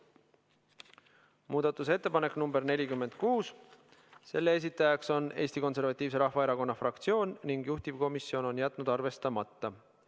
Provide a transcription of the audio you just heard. Muudatusettepanek nr 46, selle esitajaks on Eesti Konservatiivse Rahvaerakonna fraktsioon ning juhtivkomisjon on jätnud selle arvestamata.